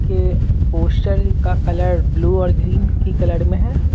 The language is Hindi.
के पोस्टर का कलर ब्लू और ग्रीन की कलर में है।